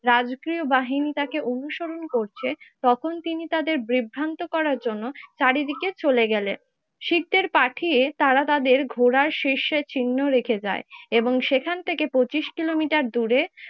রাজকীয় বাহিনী তাকে অনুসরণ করছে তখন তিনি তাদের ব্রিভান্ত করার জন্য চারিদিকে চলে গেলেন। শিখদের পাঠিয়ে তারা তাদের ঘোড়ার সের্সের চিহ্ন রেখে যায়, এবং সেখান থেকে পঁচিশ কিলোমিটার দূরে